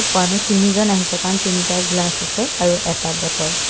মানু্হ তিনিজন আহিছে কাৰণ তিনিটা গ্লাচ আছে আৰু এটা বটল ।